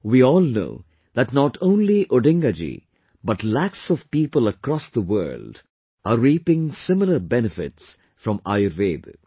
We all know that not only Odinga ji but lakhs of people across the world are reaping similar benefits from Ayurveda